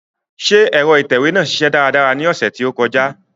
Njẹ ẹ̀ro itẹwe naa ṣiṣẹ daradara ni ọsẹ to kọja?